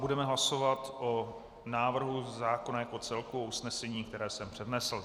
Budeme hlasovat o návrhu zákona jako celku, o usnesení, které jsem přednesl.